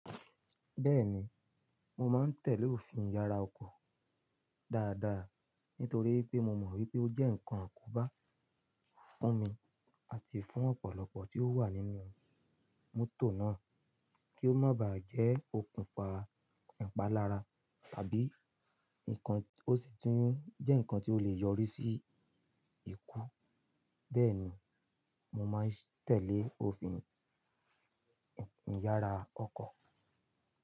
Bẹ́ẹ̀ni, mo máa ń tẹ̀lé òfin ìyára ọkọ̀ dáadáa nítorí pé mo mọ̀ wípé ó jẹ́ ǹkan akòbá fún mi àti fún ọ̀pọ̀lọpọ̀ tí ó wà nínú mótò náà kí ó má ba jẹ́ okùnfà ìpalára tàbí ǹkan tó sì tún jẹ́ ǹkan tí ó lè yọrí sí ikú. Bẹ́ẹ̀ ni, mo máa ń tẹ̀lé òfin ìyára ọkọ̀.